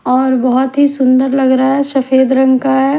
और बहोत ही सुंदर लग रहा है सफेद रंग का है।